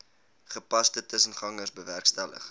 gepaste tussengangers bewerkstellig